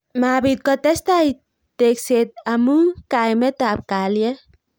Mabit kotestai tekset amu kaimet ab kalyet.